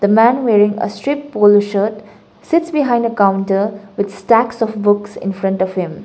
the man wearing a strip polo shirt sits behind a counter with stacks of books in front of him.